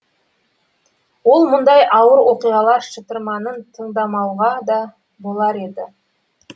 ол мұндай ауыр оқиғалар шытырманын таңдамауға да болар еді